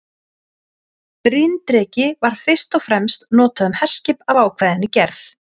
Bryndreki var fyrst og fremst notað um herskip af ákveðinni gerð.